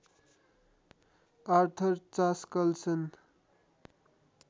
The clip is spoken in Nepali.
Arthur Chaskalson